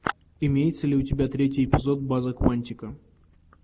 имеется ли у тебя третий эпизод база куантико